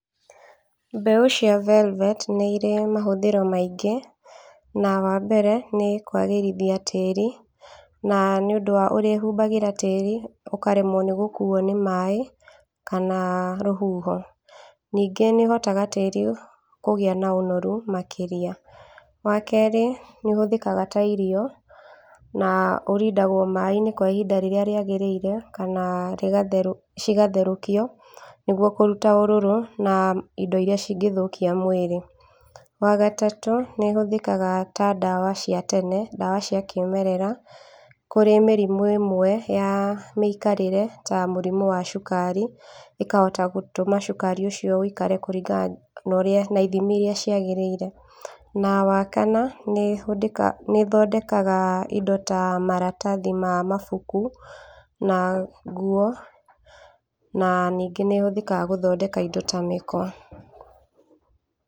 Mbeũ cia velvet nĩirĩ mahũthĩro maingi, na wambere nĩ kwagĩrithia tĩĩiri na nĩũndũ wa ũrĩa ĩhumbagĩra tĩĩri ũkaremwo nĩ gũkuwo nĩ maĩĩ kana rũhuho. Ningĩ nĩũhotaga tĩĩri kũgĩa na ũnoru makĩria. Wakerĩ nĩihũthĩkaga ta irio na ũrindagwo maĩĩ-inĩ kwa ihinda rĩrĩa rĩagĩrĩire kana rĩgathe cigatherũkio nĩguo kũruta ũrũrũ na indo iria cingĩthũkia mwĩrĩ. Wagatatũ nĩihũthikaga ta ndawa cia tene ndawa cia kĩmerera kũrĩ mĩrimũ ĩmwe ya mĩikarĩre ta mũrimu wa cukari ĩkahota gũtũma cukari ũcio ũikare kũringana na ũria na ithimi iria ciagĩrĩire. Na wakana nĩhũndĩka nĩithondekaga indo ta maratathi ma mabuku na nguo, na ningĩ nĩihũthĩkaga gũthodeka indo ta mĩkwa.